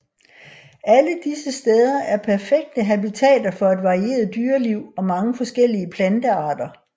Alle disse steder er perfekte habitater for et varieret dyreliv og mange forskellige plantearter